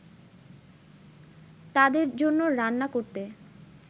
তাদের জন্য রান্না করতে